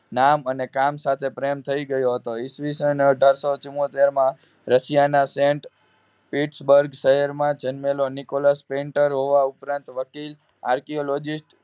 નામ અને કામ સાથે પ્રેમ થઈ ગયો હતો ઈસવીસન અઢારસો ચૂમોતેર માં રશિયાના સેન્ટ ઇટ્સ બગ શહેર માં જન્મેલો નિકોલસ Painter હોવા ઉપરાંત વકીલ Archaeologist